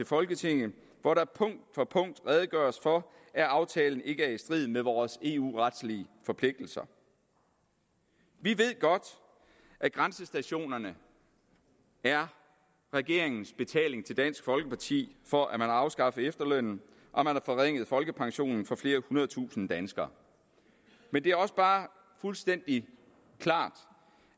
folketinget hvor der punkt for punkt redegøres for at aftalen ikke er i strid med vores eu retlige forpligtelser vi ved godt at grænsestationerne er regeringens betaling til dansk folkeparti for at afskaffe efterlønnen og forringe folkepensionen for flere hundrede tusinde danskere men det er også bare fuldstændig klart